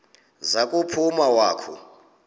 za kuphuma wakhu